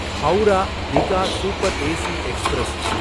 Howrah Digha super AC express